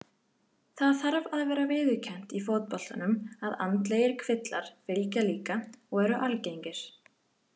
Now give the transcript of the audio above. Það þarf að vera viðurkennt í fótboltanum að andlegir kvillar fylgja líka og eru algengir.